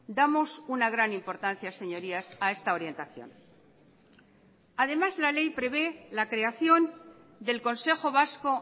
damos una gran importancia señorías a esta orientación además la ley prevé la creación del consejo vasco